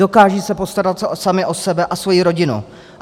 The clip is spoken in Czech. Dokážou se postarat sami o sebe a svoji rodinu.